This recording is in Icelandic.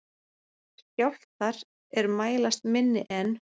Skjálftar er mælast minni en